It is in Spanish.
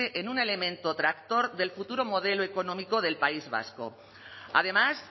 en un elemento tractor del futuro modelo económico del país vasco además